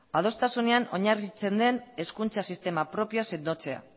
adostasunean oinarritzen den hezkuntza sistema propioa sendotzea